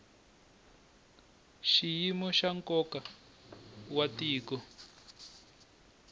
xiyimo xa nkoka wa tiko